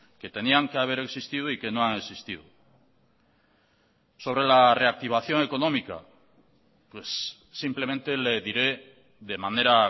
que tenían que haber existido y que no han existido sobre la reactivación económica simplemente le diré de manera